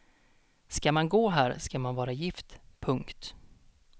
Ska man gå här ska man vara gift. punkt